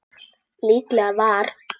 Líklega var